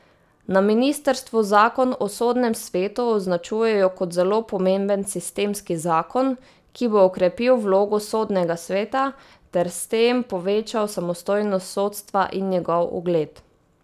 Na ministrstvu zakon o Sodnem svetu označujejo kot zelo pomemben sistemski zakon, ki bo okrepil vlogo Sodnega sveta ter s tem povečal samostojnost sodstva in njegov ugled.